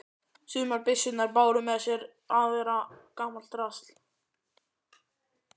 Sumar byssurnar báru með sér að vera gamalt drasl.